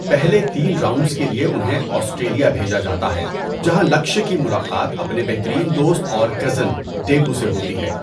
پہلے تین راؤنڈز کے لیے انہیں آسٹریلیا بھیجا جاتا ہے جہاں لکشیا کی ملاقات اپنے بہترین دوست اور کزن ڈیبو سے ہوتی ہے۔